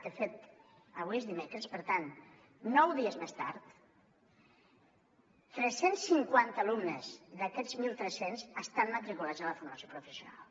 de fet avui és dimecres per tant nou dies més tard tres cents i cinquanta alumnes d’aquests mil tres cents estan matriculats a la formació professional